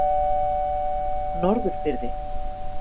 Norðurfirði